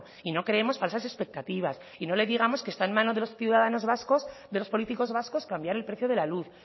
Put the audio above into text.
y no creemos falsas expectativas y no le digamos que está en manos de los políticos vascos cambiar el precio de la luz